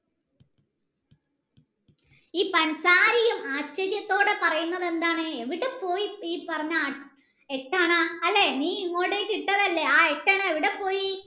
യും ആശ്ചര്യത്തോടെ പറയുന്നത് എന്താണ് എവിടെപ്പോയി ഈ പറഞ്ഞ എട്ടണ അല്ലെ നീ ഇങ്ങോട്ടെക് ഇട്ടതല്ലേ ആ എട്ടണ എവിടെപ്പോയി